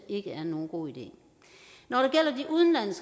ikke er nogen god idé når